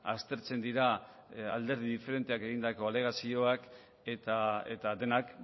aztertzen dira alderdi diferenteak egindako alegazioak eta denak